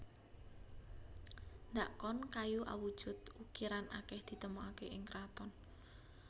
Dhakon kayu awujud ukiran akeh ditemokake ing kraton